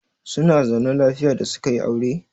Zuna zaune lafiya da suka yi aure?